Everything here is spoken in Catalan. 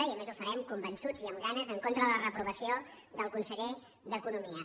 i a més ho farem convençuts i amb ganes en contra de la reprovació del conseller d’economia